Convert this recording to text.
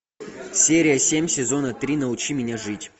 серия семь сезона три научи меня жить